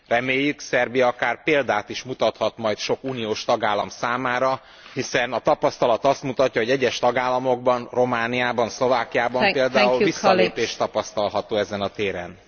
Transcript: Reméljük, Szerbia akár példát is mutathat majd sok uniós tagállam számára, hiszen a tapasztalat azt mutatja, hogy egyes tagállamokban, Romániában, Szlovákiában például visszalépés tapasztalható ezen a téren.